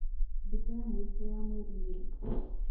Thĩkũ ya mwĩco ya mwerĩ nĩ rĩĩ